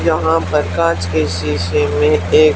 यहां पर कांच के शीशे मिलते--